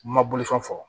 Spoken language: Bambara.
Ma bolifɛn fɔ